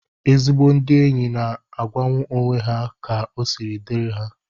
Ezigbo ndị enyi na-agwanwu onwe ha ka osi diri ha